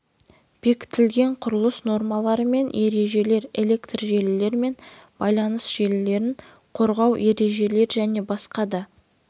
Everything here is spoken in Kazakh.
бекітілген құрылыс нормалары мен ережелер электр желілер мен байланыс желілерін қорғау ережелер және басқа да